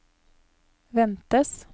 ventes